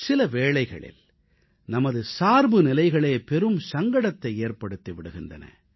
சில வேளைகளில் நமது சார்புநிலைகளே பெரும் சங்கடத்தை ஏற்படுத்தி விடுகின்றன